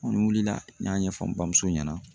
N wulila n y'a ɲɛfɔ n bamuso ɲɛna